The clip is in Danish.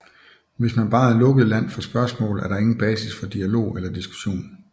Hvis man bare er lukket land for spørgsmål er der ingen basis for dialog eller diskussion